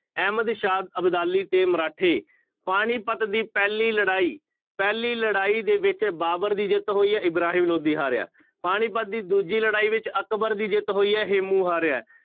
ਅਹਿਮਦ ਸ਼ਾਹ ਅਬਦਾਲੀ ਤੇ ਮਰਾਠੇ, ਪਾਣੀਪੱਤ ਦੀ ਪਹਿਲੀ ਲੜਾਈ, ਪਹਿਲੀ ਲੜਾਈ ਦੇ ਵਿੱਚ ਬਾਬਰ ਦੀ ਜਿੱਤ ਹੋਈ ਹੈ, ਇਬਰਾਹਿਮ ਲੋਧੀ ਹਾਰਿਆ, ਪਾਣੀਪੱਤ ਦੀ ਦੂਜੀ ਲੜਾਈ ਵਿੱਚ ਅਕਬਰ ਦੀ ਜਿੱਤ ਹੋਈ ਹੈ, ਹੇਮੂੰ ਹਾਰਿਆ ਹੈ।